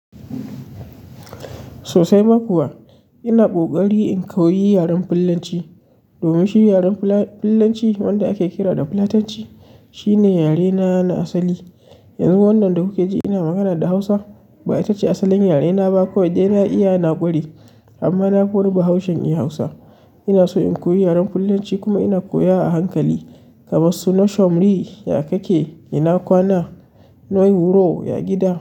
Sosai ma kuwa ina ƙoƙarin in koyi yaran fulanci, domin shi yaran fula, fullanci, wanda ake kira da yaran fulatanci, shine yare na na asali. Yanzu wannan da kuke ji ina magana da Hausa ba ita ce asalin yare na ba ko dai na iya na ƙwarai, amma na nafii wani bahaushen iya Hausa. Ina so in koyi yaren Fulanci kuma ina koya a hankali, kamar su "Noshon ri" ya ka ke? Ina kwana ya gida.